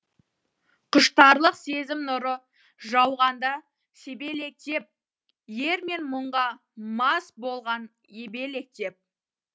құштарлық сезім нұры жауғанда себелектеп ермен мұңға мас болған ебелектеп